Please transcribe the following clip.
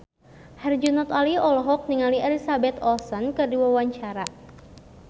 Herjunot Ali olohok ningali Elizabeth Olsen keur diwawancara